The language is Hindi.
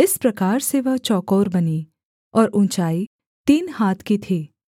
इस प्रकार से वह चौकोर बनी और ऊँचाई तीन हाथ की थी